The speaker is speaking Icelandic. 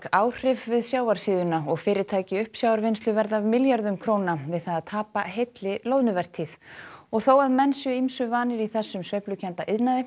áhrif við sjávarsíðuna og fyrirtæki í uppsjávarvinnslu verða af milljörðum við það að tapa heilli loðnuvertíð og þó að menn séu ýmsu vanir í þessum sveiflukennda iðnaði